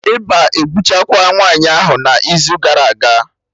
Ịba egbuchakwaa nwaanyị ahụ n'izu gara aga